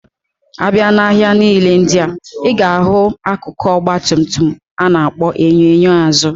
Abia na ahia nile ndia, iga ahu akụkụ Ọgba tum tum ana akpo enyo enyo azu.